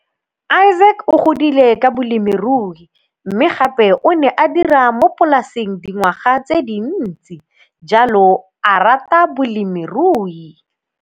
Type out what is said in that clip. Isaac o godile ka bolemirui mme gape o ne a dira mo polaseng dingwaga tse dintsi, jalo a rata bolemiruyi.